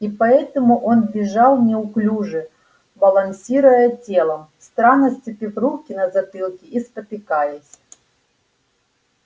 и поэтому он бежал неуклюже балансируя телом странно сцепив руки на затылке и спотыкаясь